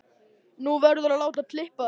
Þú verður að láta klippa þig.